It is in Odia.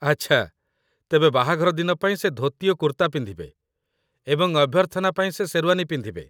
ଆଚ୍ଛା, ତେବେ ବାହାଘର ଦିନ ପାଇଁ ସେ ଧୋତି ଓ କୁର୍ତ୍ତା ପିନ୍ଧିବେ, ଏବଂ ଅଭ୍ୟର୍ଥନା ପାଇଁ ସେ ଶେର୍ୱାନୀ ପିନ୍ଧିବେ